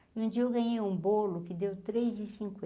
E um dia eu ganhei um bolo que deu três e